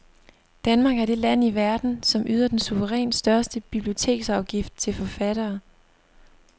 Danmark er det land i verden, som yder den suverænt største biblioteksafgift til forfattere.